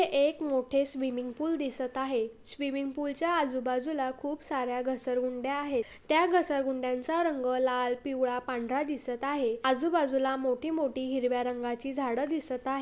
एक मोठे swimming pool दिसत आहे. स्विमिंग पूलच्या आजूबाजूला खूप सार्‍या घसरगुंडया आहेत. त्या घसरगुंडयाचा रंग लाल पिवळा पांढरा दिसत आहे. आजूबाजूला मोठी मोठी हिरव्या रंगाची झाड दिसत आहे.